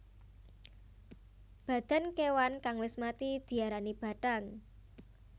Badan kewan kang wis mati diarani bathang